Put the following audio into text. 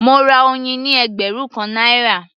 Mo ra oyin ní ẹgbẹ̀rún kan náírà